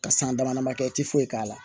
Ka san dama dama kɛ i ti foyi k'a la